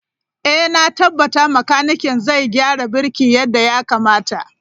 Ee, na tabbata makanikin zai gyara birki yadda ya kamata.